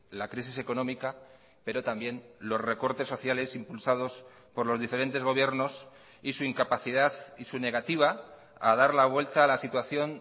la crisis económica pero también los recortes sociales impulsados por los diferentes gobiernos y su incapacidad y su negativa a dar la vuelta a la situación